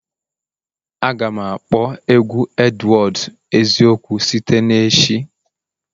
Aga m akpọ egwu Edwards eziokwu site na echi